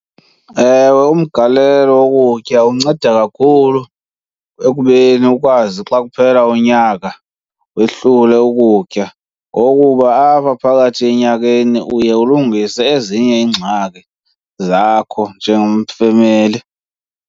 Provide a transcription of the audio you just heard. Ewe, umgalelo wokutya unceda kakhulu ekubeni ukwazi xa kuphela unyaka wehlule ukutya ngokuba apha phakathi enyakeni uye ulungise ezinye iingxaki zakho njengomfemeli.